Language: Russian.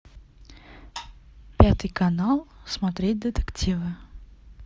пятый канал смотреть детективы